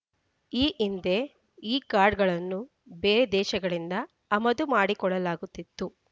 ಈ ಹಿಂದೆ ಈ ಕಾರ್ಡ್‌ಗಳನ್ನು ಬೇರೆ ದೇಶಗಳಿಂದ ಆಮದು ಮಾಡಿಕೊಳ್ಳಲಾಗುತ್ತಿತ್ತು